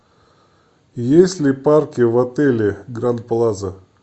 есть ли парки в отеле гранд плаза